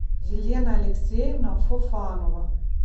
елена алексеевна фофанова